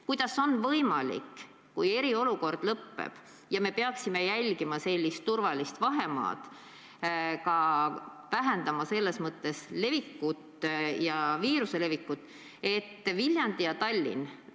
Kuidas on võimalik, kui eriolukord lõpeb ja me peaksime jälgima sellist turvalist vahemaad, et vähendada viiruse levikut, sõita näiteks Viljandi ja Tallinna vahet?